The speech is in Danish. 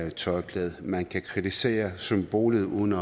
et tørklæde man kan kritisere symbolet uden